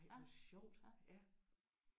Ej hvor sjovt